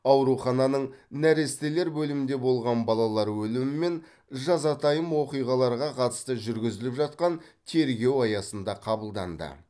аурухананың нәрестелер бөлімінде болған балалар өлімі мен жазатайым оқиғаларға қатысты жүргізіліп жатқан тергеу аясында қабылданды